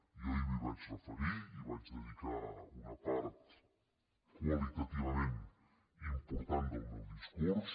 jo ahir m’hi vaig referir hi vaig dedicar una part qualitativament important del meu discurs